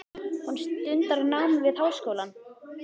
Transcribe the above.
Hún stundar nám við háskólann.